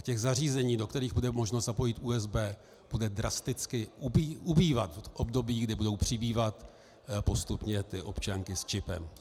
A těch zařízení, do kterých bude možno zapojit USB, bude drasticky ubývat v období, kdy budou přibývat postupně ty občanky s čipem.